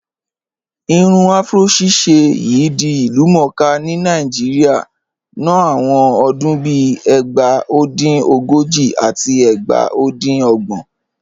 Irun afúró ṣíṣẹ̀ yìí di ilúmọ̀ọ́kà ni Naijíríà nọ̀ awọn ọdún bíì ẹgbá. O dín ogojì àti ẹgbá o dín ogbọn